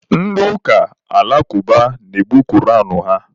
Ndị ụka alakụba na-ebu koran ha